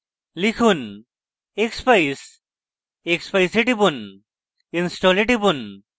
লিখুন expeyes expeyes এ টিপুন install এ টিপুন